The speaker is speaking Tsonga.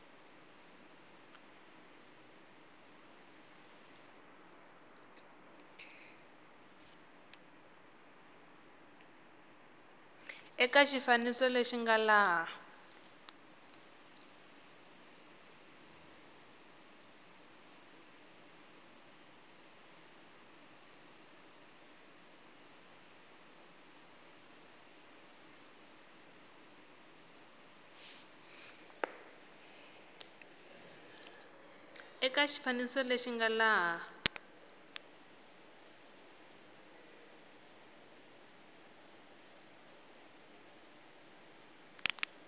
eka xifaniso lexi nga laha